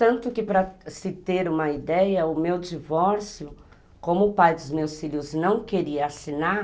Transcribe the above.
Tanto que para se ter uma ideia, o meu divórcio, como o pai dos meus filhos não queria assinar,